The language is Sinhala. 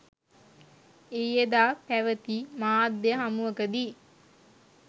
ඊයේදා පැවැති මාධ්‍ය හමුවකදී